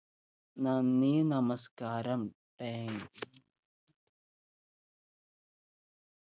നന്ദി നമസ്ക്കാരം thanks